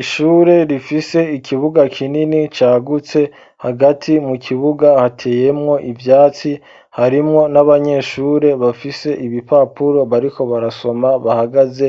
Ishure rifise ikibuga kinini cagutse hagati mu kibuga hateyemwo ivyatsi harimwo n'abanyeshure bafise ibipapuro bariko barasoma bahagaze